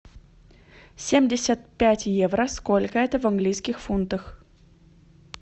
семьдесят пять евро сколько это в английских фунтах